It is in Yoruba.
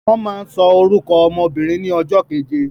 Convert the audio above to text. Wọ́n máa ń sọ orúkọ ọmọ obìnrin ní ọjọ́ keje